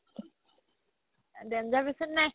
danger বেচি নাই